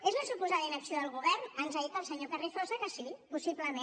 és la suposada inacció del govern ens ha dit el senyor carrizosa que sí possiblement